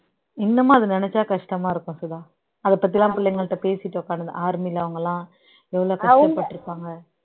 இன்னமும் அதை நினைச்சா கஷ்டமா இருக்கும் சுதா அதை பத்தியெல்லாம் பிள்ளைகள்ட்ட பேசிட்டு உட்கார்ந்திருந்தேன் army ல அவங்கெல்லாம் எவ்வளவு கஷ்டப்பட்டிருப்பாங்க